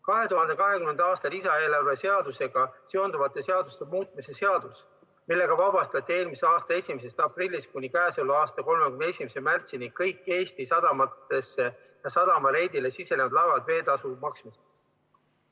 2020. aasta lisaeelarve seadusega seonduvate seaduste muutmise seadusega vabastati eelmise aasta 1. aprillist kuni käesoleva aasta 31. märtsini kõik Eesti sadamatesse või sadama reidile sisenenud laevad veeteetasu maksmisest.